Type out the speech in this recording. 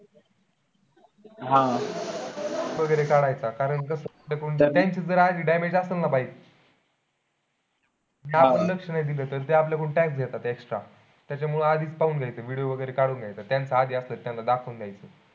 वगैरे काढायचा कारण कसं आहे. त्यांचं आधीच damage असेल ना bike आपण लक्ष नाही दिलं तर ते आपल्या कडून tax घेतात extra त्याच्या मुळे आधीच पाहून घ्यायचा, video वगैरे काढून घ्यायचा आधी असेल तर त्यांना दाखवून द्यायचं.